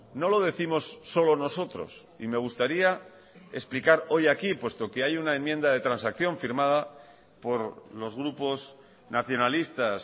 no lo décimos solo nosotros y me gustaría explicar hoy aquí puesto que hay una enmienda de transacción firmada por los grupos nacionalistas